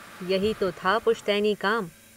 यही तो था पुश्तैनी काम।